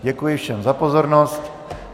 Děkuji všem za pozornost.